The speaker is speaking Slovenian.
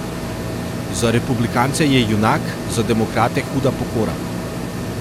Za republikance je junak, za demokrate huda pokora.